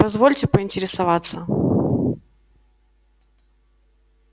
позвольте поинтересоваться